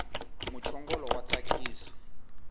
muchongolo wa tsakisa